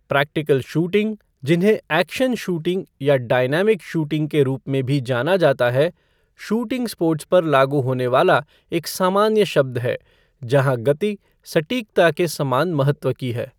Practical shooting, जिन्हें action shooting या dynamic shooting के रूप में भी जाना जाता है, शूटिंग स्पोर्ट्स पर लागू होने वाला एक सामान्य शब्द है जहाँ गति सटीकता के समान महत्व की है।